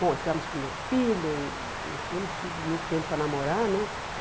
Bom, tivemos o primeiro filho, não tínhamos tido muito tempo para namorar, né?